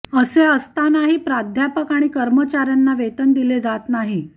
असे असतानाही प्राध्यापक आणि कर्मचाऱ्यांना वेतन दिले जात नाही